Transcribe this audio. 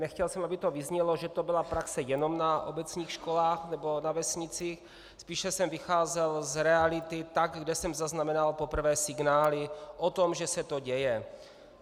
Nechtěl jsem, aby to vyznělo, že to byla praxe jenom na obecních školách nebo na vesnicích, spíše jsem vycházel z reality tam, kde jsem zaznamenal poprvé signály o tom, že se to děje.